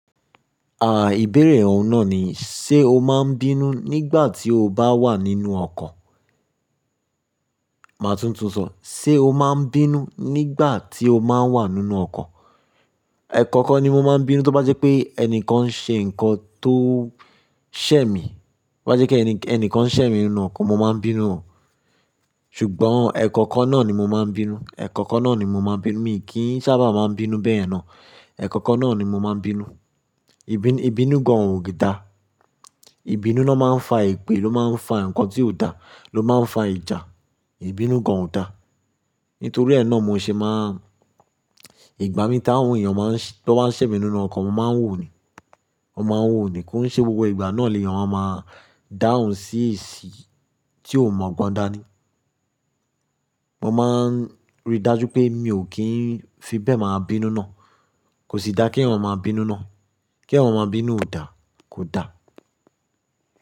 Ìbéèrè ọ̀ún náà ni, ṣe o máa ń bínú nígbà tí o bá wà nínú ọkọ̀? Màá tun sọ, ṣe o máa ń bínú nígbà tí o báa ń wà nínú ọkọ̀? Ẹ̀kọ̀kan ni mo máa ń bínú, tó bá jẹ́ pé ẹnìkan ṣe nǹkan tó sẹ́ mi. To bá jẹ́ pé ẹni kan ṣẹ̀ mí nínú ọkọ̀, mo máa ń bínú. Ṣùgbọ́n ẹ̀ẹkọ̀kan náà ni mo máa ń bínú. Mi kí ń sábà máa ń bínú bẹ́ẹ̀ yen náà. Ẹ̀ẹ̀kọ̀kan náà ni mo máa ń bínú. Ìbínú gan ò dá. Ìbínú lo máa ń fa èpè, ló máa ń fa nǹkan tí ò dá, ló máa ń fa ìjà. Ìbínú gan ò dá. Nítorí ẹ́ náà mo ṣe máa ń, ìgbà mí tí àwọn èèyàn bá ṣẹ̀ mí nínú ọkọ̀, mo máa ń wò ó ni. Mo máa ń wò ó ni, kí ṣe gbogbo ìgbà náà ni èèyàn máa dáhùn sí ìṣì tí ò mogbon dáa ní. Mo máa ń rí dájú pé mi ò kí ń fi bẹ́ẹ̀ máa bínú náà. Kò sì dáa kí èèyàn máa bínú náà. Kí èèyàn máa bínú ò dáa,